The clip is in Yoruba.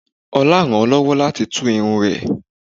Olá rán lọ́wọ́ láti tú irun rẹ̀